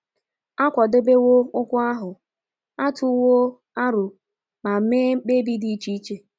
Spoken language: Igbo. A kwadebewo okwu ahụ, a tụwo aro ma mee mkpebi dị iche iche.